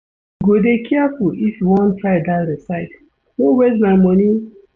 You go dey careful if you wan try dat recipe, no waste my moni.